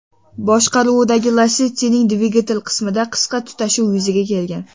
boshqaruvidagi Lacetti’ning dvigatel qismida qisqa tutashuv yuzaga kelgan.